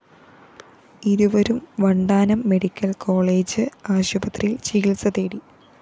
ഇരുവരും Vandanam medical college ആശുപത്രിയില്‍ ചികിത്സതേടി